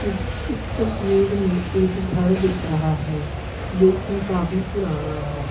यह इस तस्वीर में एक घर दिख रहा है जो कि काफी पुराना है।